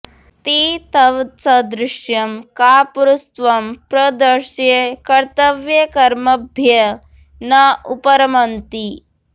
ते तव सदृशं कापुरुषत्वं प्रदर्श्य कर्तव्यकर्मभ्यः न उपरमन्ति